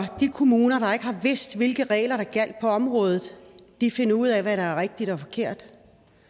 de kommuner der ikke har vidst hvilke regler der gjaldt på området finder ud af hvad der er rigtigt og forkert